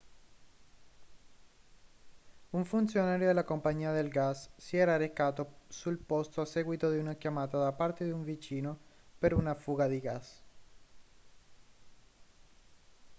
un funzionario della compagnia del gas si era recato sul posto a seguito di una chiamata da parte di un vicino per una fuga di gas